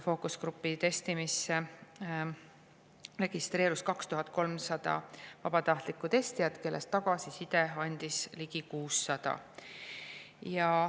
Fookusgrupi testimiseks registreerus 2300 vabatahtlikku testijat, kellest tagasisidet andis ligi 600.